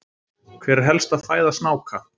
hver er helsta fæða snáka